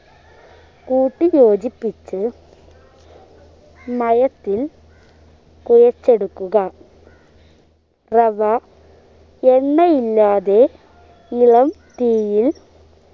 കൂട്ടി യോജിപ്പിച്ച്‌ മയത്തിൽ കുഴച്ചെടുക്കുക റവ എണ്ണയില്ലാതെ ഇളം തീയിൽ